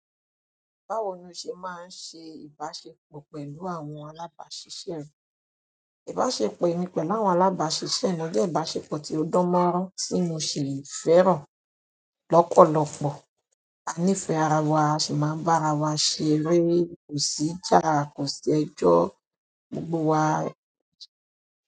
Báwo ni o ṣe máa ń ṣe ìbáṣepọ̀ pẹ̀lú àwọn alábàáṣiṣẹ́ rẹ? Ìbáṣepọ̀ emi pẹ̀lú àwọn alábàáṣise mi jẹ́ ìbáṣepọ̀ tí ó dán mọ́rán tí mo sì fẹ́ràn lọ́pọ̀lọpọ̀. A nífẹ̀ẹ́ ara wa, a sì máa ń bá ara wa ṣeré kò sìjà ko sẹjọ́ gbogbo wa.